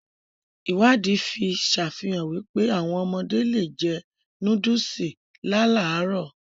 Ìwádìí fi sàfihàn wípé, áwọn ọmọdé le è jẹ nóódùsì láàlárọ̀